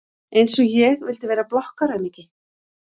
Einsog ég vildi vera blokkaraaumingi!